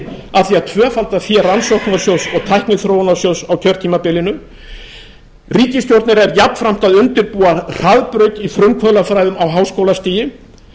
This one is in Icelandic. að tvöfalda fé rannsóknarsjóðs og tækniþróunarsjóðs á kjörtímabilinu ríkisstjórnin er jafnframt að undirbúa hraðbraut í frumkvöðlafræðum á háskólastigi